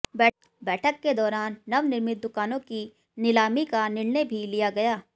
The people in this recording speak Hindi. बैठक के दौरान नवनिर्मित दुकानों की नीलामी का निर्णय भी लिया गया